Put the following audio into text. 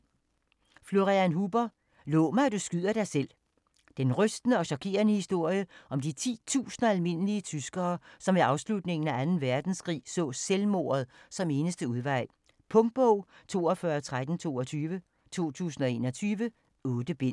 Huber, Florian: Lov mig, at du skyder dig selv Den rystende og chokerende historie om de titusinder af almindelige tyskere, som ved afslutningen af 2. verdenskrig så selvmordet som eneste udvej. Punktbog 421322 2021. 8 bind.